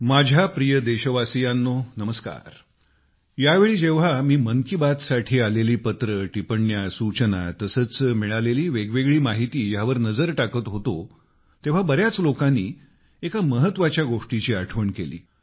माझ्या प्रिय देशवासियांनो नमस्कार यावेळी जेव्हा मी मन की बात साठी आलेली पत्रे टिप्पण्या सूचना तसेच मिळालेली वेगवेगळी माहिती ह्यावर नजर टाकत होतो तेव्हा बऱ्याच लोकांनी एका महत्वाच्या गोष्टीची आठवण केली